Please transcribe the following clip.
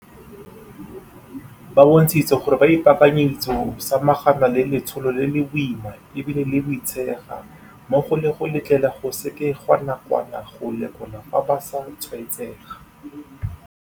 Ba bontshitse gore ba ipaakanyeditse go samagana le letsholo le le boima e bile le boitshega mmogo le go letlelela go sekegwa nakwana go lekola fa ba sa tshwaetsega.